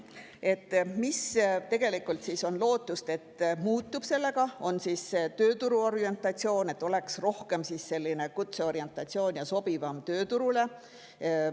Lootus on, et tegelikult muutub sellega tööturu orientatsioon, et oleks rohkem selline kutseorientatsioon, mis oleks sobivam tööturule.